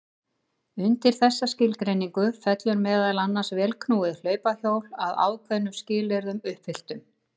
Undir þessa skilgreiningu fellur meðal annars vélknúið hlaupahjól að ákveðnum skilyrðum uppfylltum.